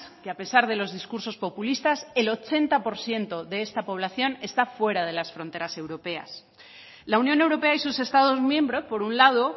que a pesar de los discursos populistas el ochenta por ciento de esta población está fuera de las fronteras europeas la unión europea y sus estados miembros por un lado